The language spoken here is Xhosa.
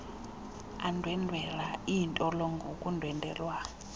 andwendwela iintolongo ukundwendwelwa